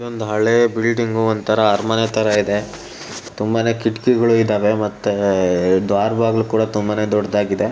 ಒಂದು ಹಳೆ ಬಿಲ್ಡಿಂಗು ಒಂತರ ಅರಮನೆತರ ಇದೆ. ತುಂಬಾನೇ ಕಿಟಕಿಗಳು ಇದೆ ಮತ್ತೆ ದ್ವಾರ ಬಾಗಿಲು ತುಂಬಾನೇ ದೊಡ್ಡದಾಗಿದೆ.